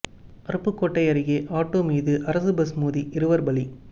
அருப்புக்கோட்டை அருகே ஆட்டோ மீது அரசு பஸ் மோதி இருவர் பலி